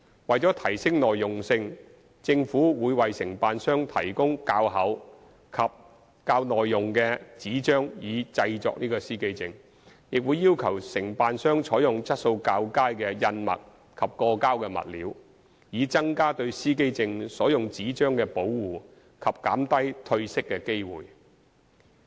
為提升耐用性，政府會為承辦商提供較厚及較耐用的紙張以製作司機證，亦會要求承辦商採用質素較佳的印墨及過膠物料，以增加對司機證所用紙張的保護及減低褪色的機會。